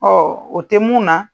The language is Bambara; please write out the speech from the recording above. Ɔɔ o te mun na